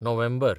नोव्हेंबर